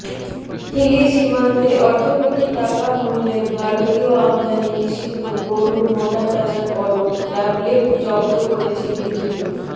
হিলি সীমান্তে অর্ধকোটি টাকা মুল্যের ভারতীয় আমদানি নিষিদ্ধ গরু মোটাতাজা করন ট্যাবলেট জব্দ করেছে বিজিবি